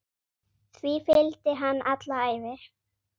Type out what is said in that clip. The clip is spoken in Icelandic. Því fylgdi hann alla ævi.